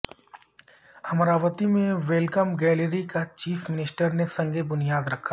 امراوتی میں welcome gallery کا chief minister نے سنگ بنیادرکھا